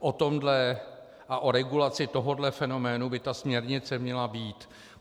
O tomhle a o regulaci tohohle fenoménu by ta směrnice měla být.